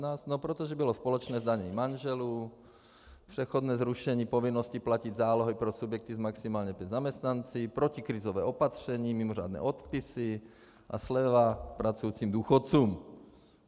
No protože bylo společné zdanění manželů, přechodné zrušení povinnosti platit zálohy pro subjekty s maximálně pěti zaměstnanci, protikrizové opatření, mimořádné odpisy a sleva pracujícím důchodcům.